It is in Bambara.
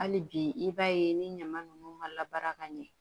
Hali bi i b'a ye ni ɲama nunnu mala baara ka ɲɛ